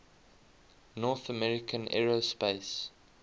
north american aerospace